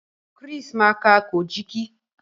Chris má ká Kojiki.